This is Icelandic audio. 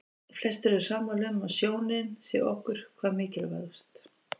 Flestir eru sammála um að sjónin sé okkur hvað mikilvægust.